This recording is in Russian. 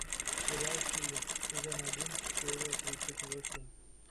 сериал хиллер сезон один серия тридцать восемь